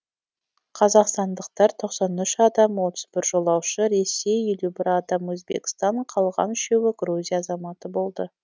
қазақстандықтар тоқсан үш адам отыз бір жолаушы ресей елу бір адам өзбекстан қалған үшеуі грузия азаматы болды